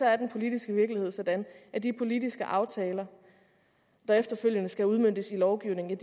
er den politiske virkelighed sådan at de politiske aftaler der efterfølgende skal udmøntes i lovgivningen